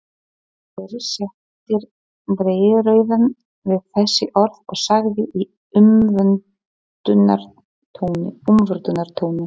Guðgeir setti dreyrrauðan við þessi orð og sagði í umvöndunartóni